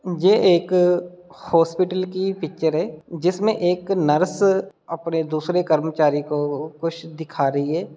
जे एक हॉस्पिटल की पिक्चर है जिसमें एक नर्स अपने दूसरे कर्मचारी को कुछ दिखा रही है।